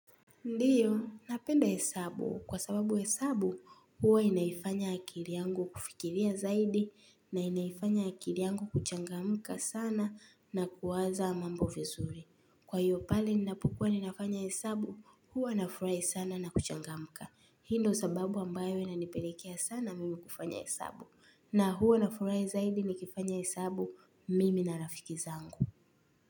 Ndio, napenda hesabu. Kwa sababu hesabu, huwa inaifanya akili yangu kufikiria zaidi na inaifanya akili yangu kuchangamka sana na kuwaza mambo vizuri. Kwa hiyo pale ninapukuwa ninafanya hesabu, huwa nafurahi sana na kuchangamka. Hii ndio sababu ambayo inanipelekea sana mimi kufanya hesabu na huwa nafurahi zaidi nikifanya hesabu mimi na rafiki zangu.